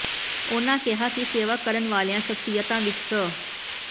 ਉਨ੍ਹਾਂ ਕਿਹਾ ਕਿ ਸੇਵਾ ਕਰਨ ਵਾਲੀਆਂ ਸਖਸ਼ੀਅਤਾਂ ਵਿੱਚ ਸ